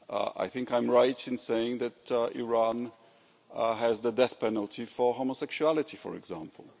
I think I am right in saying that Iran has the death penalty for homosexuality, for example.